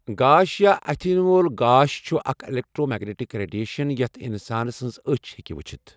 گاش یا اَتھہِ یِنہٕ وول گاش چھےٚ اَکھ اؠلیٚکٹرومیٚگنیٹِک ریڈیشَن یَتھ انسانہ سنز أچھ ہیٚکہِ وُچِتھ.